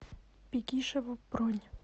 бегишево бронь